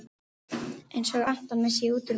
Einsog Anton, missi ég útúr mér.